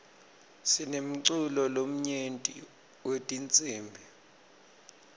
sinemculo lomnyenti wetinsibi